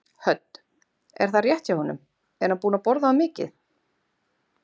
Hödd: Er það rétt hjá honum, er hann búinn að borða of mikið?